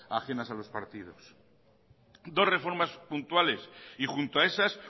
ajenas a los partidos dos reformas puntuales y junto a esas